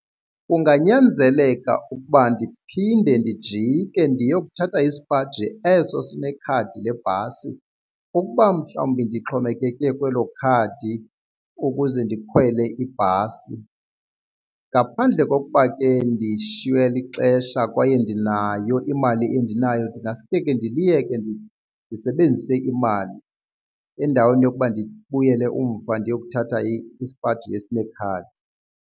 Kunganyanzeleka ukuba ndiphinde ndijike ndiyokuthatha isipaji eso sinekhadi lebhasi ukuba mhlawumbi ndixhomekeke kwelo khadi ukuze ndikhwele ibhasi. Ngaphandle kokuba ke ndishiywe lixesha kwaye ndinayo imali endinayo ndingaske ke ndiliyeke ndisebenzise imali endaweni yokuba ndibuyele umva ndiyokuthatha isipaji esinekhadi.